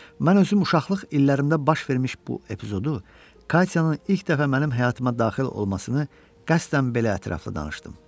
Mən özüm uşaqlıq illərimdə baş vermiş bu epizodu Katyanın ilk dəfə mənim həyatıma daxil olmasını qəsdən belə ətraflı danışdım.